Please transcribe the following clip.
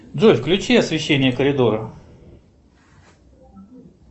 джой включи освещение коридора